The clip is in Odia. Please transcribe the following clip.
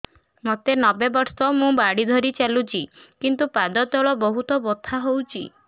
ମୋତେ ନବେ ବର୍ଷ ମୁ ବାଡ଼ି ଧରି ଚାଲୁଚି କିନ୍ତୁ ପାଦ ତଳ ବହୁତ ବଥା ହଉଛି